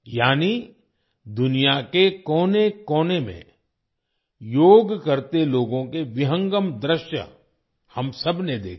यानी दुनिया के कोने कोने में योग करते लोगों के विहंगम दृश्य हम सबने देखे